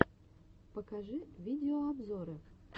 покажи видеообзоры